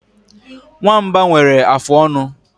Nwamba nwere afụ ọnụ.